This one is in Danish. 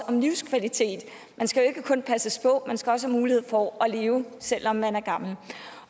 om livskvalitet man skal jo ikke kun passes på man skal også have mulighed for at leve selv om man er gammel